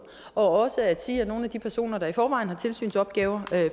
og også at sige at nogle af de personer der i forvejen har tilsynsopgaver